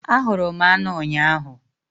Ahụrụ m anụ ụnyahụ